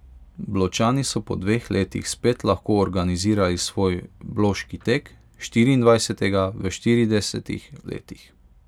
Bločani so po dveh letih spet lahko organizirali svoj Bloški tek, štiriindvajsetega v štiridesetih letih.